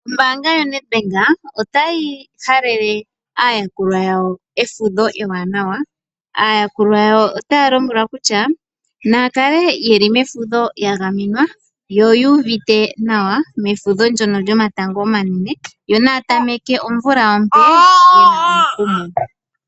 Ombaanga yaNedbank otayi halele aayakulwa yawo efudho ewanawa. Aayakulwa yawo otaya lombwelwa kutya naya kale yeli mefudho yagamenwa, yo yu uvite nawa mefudho ndyono lyomatango omanene yo naya tameke omvula ompe yena omukumo.